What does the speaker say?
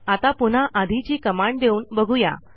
आता पुन्हा आधीची कमांड देऊन बघू या